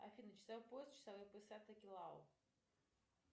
афина часовой пояс часовые пояса токелау